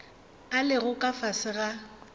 a lego ka fase ga